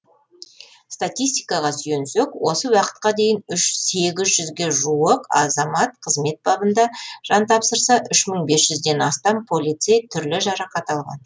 статистикаға сүйенсек осы уақытқа дейін сегіз жүзге жуық азамат қызмет бабында жан тапсырса үш мың бес жүзден астам полицей түрлі жарақат алған